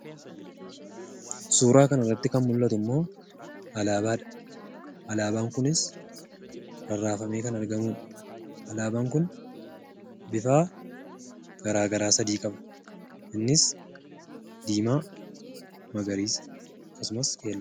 Suuraa kanarratti kan mul'atu ammoo, alaabaadha. Alaabaan kunis rarraafamee kan argamudha. Alaabaan kun bifa garaagaraa sadii qaba. Innis; diimaa, magariisa akkasumas keelloodha.